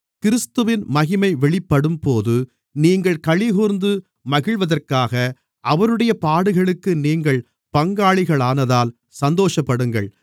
கிறிஸ்துவின் மகிமை வெளிப்படும்போது நீங்கள் களிகூர்ந்து மகிழ்வதற்காக அவருடைய பாடுகளுக்கு நீங்கள் பங்காளிகளானதால் சந்தோஷப்படுங்கள்